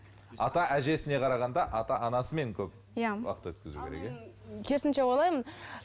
ата әжесіне қарағанда ата анасымен көп иә уақыт өткізу керек иә керісінше ойлаймын